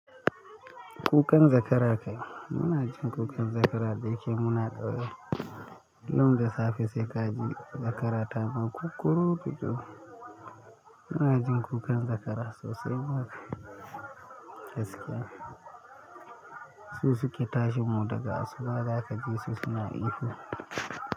Kukan zakara kai. Muna jin kukan zakara da yake muna ɗa. Kullum da safe sai ka ji zakara ta ma kukuruku. Muna jin kukan zakara sosai ma. Gaskiya su suke tashi mu daga asuba, za ka ji su suna ihu.